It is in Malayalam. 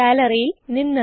ഗ്യാലറിയിൽ നിന്ന്